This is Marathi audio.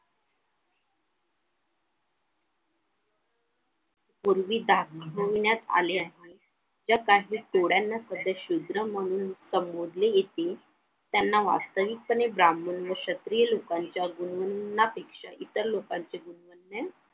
पूर्वी दाखविण्यात आले आहे ज्यांना शूद्र म्हणून संबोधले गेले होते त्यांना वास्तविक पाने ब्राम्हण व क्षत्रिय लोकांच्या गुणगुण्यापेक्षा इतर लोकांचे गुणगुणणे